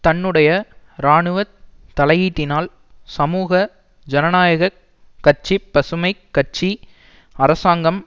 தன்னுடைய இராணுவ தலையீட்டினால் சமூக ஜனநாயக கட்சிபசுமை கட்சி அரசாங்கம்